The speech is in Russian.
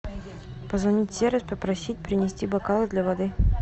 позвонить в сервис попросить принести бокалы для воды